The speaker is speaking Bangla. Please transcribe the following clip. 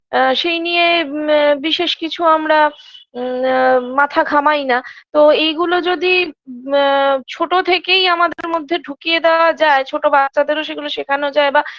আ সেই নিয়ে আ বিশেষ কিছু আমরা আ মাথা ঘামাই না তো এইগুলো যদি আ ছোটো থেকেই আমাদের মধ্যে ঢুকিয়ে দেওয়া যায় ছোটো বাচ্চাদেরও সেগুলো সেখানো যায় বা